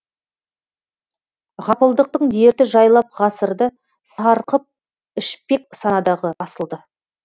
ғапылдықтың дерті жайлап ғасырды сарқып ішпек санадағы асылды